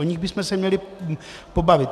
O nich bychom se měli pobavit.